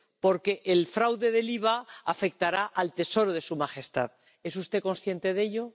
porque el fraude del IVA afectará al Tesoro de su Majestad. ¿Es usted consciente de ello?